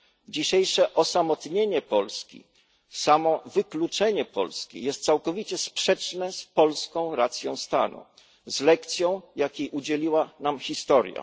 Dzisiejsze osamotnienie Polski, samowykluczenie Polski jest całkowicie sprzeczne z polską racją stanu, z lekcją, jakiej udzieliła nam historia.